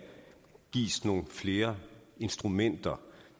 gives nogle flere instrumenter